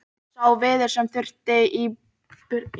Sá viður sem þurfti í burðargrind húsa var innfluttur.